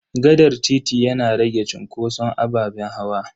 Gaɗar titi yana rage cunkoson ababen hawa.